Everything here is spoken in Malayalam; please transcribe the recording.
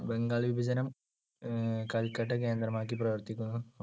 ബംഗാൾ വിഭജനം അഹ് കൽക്കട്ട കേന്ദ്രമാക്കി പ്രവർത്തിക്കുന്ന